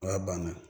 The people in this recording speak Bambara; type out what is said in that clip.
O y'a banna